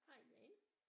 Hej Jane